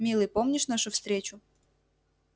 милый помнишь нашу встречу